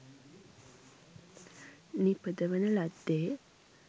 නිපදවන ලද්දේ